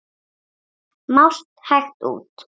Mást hægt út.